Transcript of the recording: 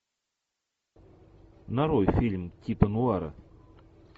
нарой фильм типа нуара